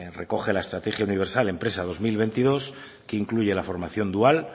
recoge la estrategia universidad empresa dos mil veintidós que incluye la formación dual